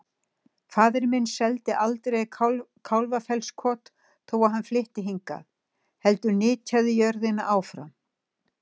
Faðir minn seldi aldrei Kálfafellskot þó að hann flytti hingað, heldur nytjaði jörðina áfram.